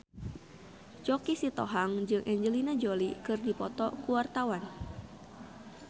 Choky Sitohang jeung Angelina Jolie keur dipoto ku wartawan